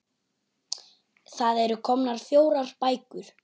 Það eru komnar fjórar bækur.